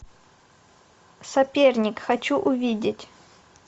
соперник хочу увидеть